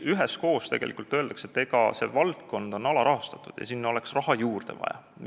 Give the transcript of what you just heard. Üheskoos öeldakse, et valdkond on alarahastatud ja sinna oleks raha juurde vaja.